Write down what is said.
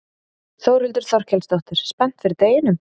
Þórhildur Þorkelsdóttir: Spennt fyrir deginum?